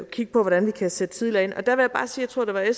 kigge på hvordan vi kan sætte tidligere ind jeg tror at det var